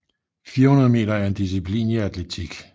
400 meter er en disciplin i atletik